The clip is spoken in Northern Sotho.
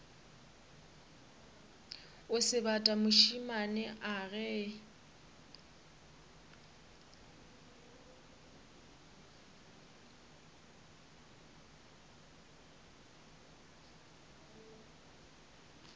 o sebata mošemane a ge